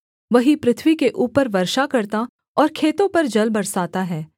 वही पृथ्वी के ऊपर वर्षा करता और खेतों पर जल बरसाता है